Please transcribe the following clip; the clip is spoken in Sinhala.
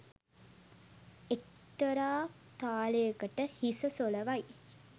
එක්තරා තාලයකට හිස සොලවයි.